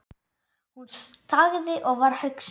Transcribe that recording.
Hún þagði og var hugsi.